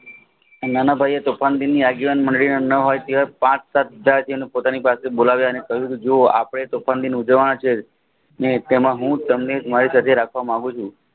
નાનાભાઈએ તોફાનગીને આગેવાન મળીને તે પાંચ સાત જાતિને બોલાવ્યા અને કહ્યું જુઓ આપણે તોફાન દિન ઉજવાના છીએ ને તેમાં હું તમને મારી સાથે રાખવા મંગુ છે